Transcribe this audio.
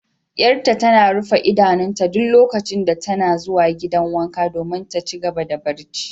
Yar'ta tana rufe idanunta duk lokacin da tana zuwa gidan wanka domin ta ci gaba da barci.